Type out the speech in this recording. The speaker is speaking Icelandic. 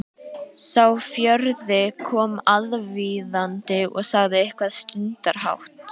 Sá fjórði kom aðvífandi og sagði eitthvað stundarhátt.